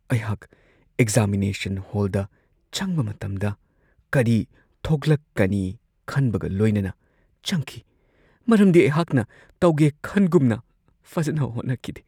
ꯑꯩ ꯑꯦꯛꯖꯥꯃꯤꯅꯦꯁꯟ ꯍꯣꯜꯗ ꯆꯪꯕ ꯃꯇꯝꯗ ꯀꯔꯤ ꯊꯣꯛꯂꯛꯀꯅꯤ ꯈꯟꯕꯒ ꯂꯣꯏꯅꯅ ꯆꯪꯈꯤ ꯃꯔꯝꯗꯤ ꯑꯩꯍꯥꯛ ꯇꯧꯒꯦ ꯈꯟꯒꯨꯝꯅ ꯐꯖꯅ ꯍꯣꯠꯅꯈꯤꯗꯦ ꯫